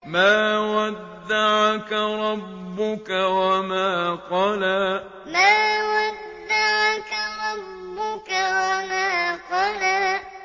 مَا وَدَّعَكَ رَبُّكَ وَمَا قَلَىٰ مَا وَدَّعَكَ رَبُّكَ وَمَا قَلَىٰ